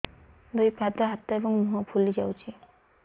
ଦୁଇ ପାଦ ହାତ ଏବଂ ମୁହଁ ଫୁଲି ଯାଉଛି